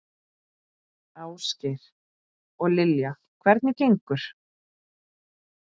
Ásgeir: Og Lilja, hvernig gengur?